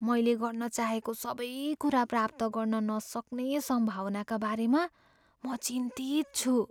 मैले गर्न चाहेको सबै कुरा प्राप्त गर्न नसक्ने सम्भावनाका बारेमा म चिन्तित छु।